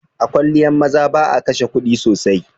A kwalliyan maza ba'a kashe kuɗi sosai.